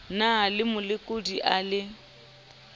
na le molekodi a le